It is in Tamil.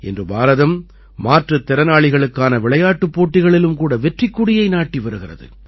இன்று பாரதம் மாற்றுத் திறனாளிகளுக்கான விளையாட்டுப் போட்டிகளிலும் கூட வெற்றிக் கொடியை நாட்டி வருகிறது